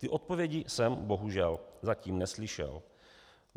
Ty odpovědi jsem bohužel zatím neslyšel.